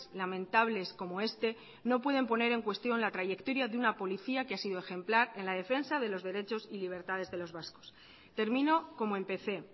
lamentables como este no pueden poner en cuestión la trayectoria de una policía que ha sido ejemplar en la defensa de los derechos y libertades de los vascos termino como empecé